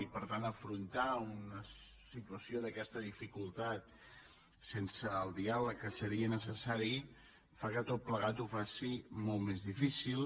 i per tant afrontar una situació d’aquesta dificultat sense el diàleg que seria necessari fa que tot plegat ho faci molt més difícil